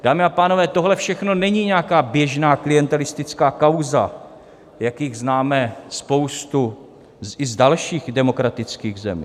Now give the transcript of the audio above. Dámy a pánové, tohle všechno není nějaká běžná klientelistická kauza, jakých známe spoustu i z dalších demokratických zemí.